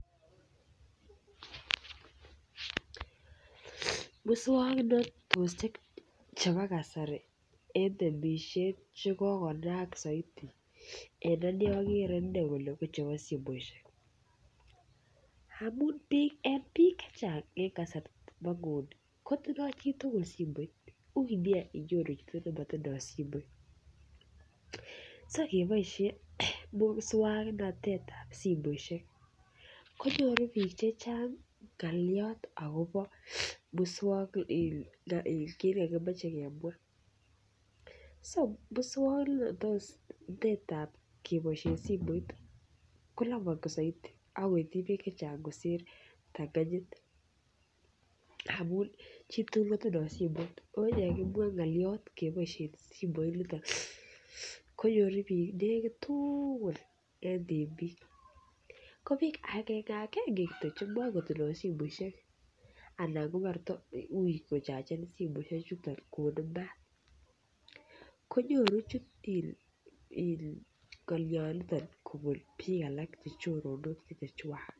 Muswongnotosiek chebo kasari en temisiet chekokonaak soiti en anee okere inei ko chebo simoisiek amun biik chechang en kasarta nebo nguni kotindoo chitugul simoit uui nia inyoru chito nemotindoo simoit so ngeboisyen muswangnatet ab simoisiek konyoru biik chechang ng'olyot akobo muswong kit nekokimoche kemwaa so muswongnotet ab keboisien simoit koloboti soiti ako ityi biik chechang kosir kiptanganyit amu chitugul kotindoo simoit ako yekimwaa ng'olyot keboisien simoit niton konyoru biik nekit tugul en temiik ko biik agenge agenge kityok chemokotindoo simoisiek ana kouui ko chagen simoisiek chuton konde maat konyoru in ng'olyot niton kobun biik alak chechoronok chechwak